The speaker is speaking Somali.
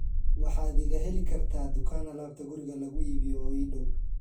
waxaad iga heli kartaa dukaan alaabta guriga lagu iibiyo oo ii dhow